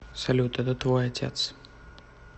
салют это твой отец